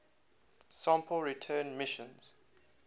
sample return missions